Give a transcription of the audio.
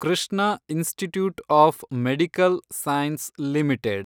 Krishna institute of medical science limited